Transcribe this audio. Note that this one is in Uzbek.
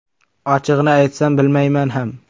Ochig‘ini aytsam, bilmayman ham.